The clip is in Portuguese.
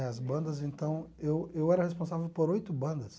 Né as bandas, então, eu eu era responsável por oito bandas.